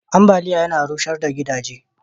ambaliya Yana rushar da gidaje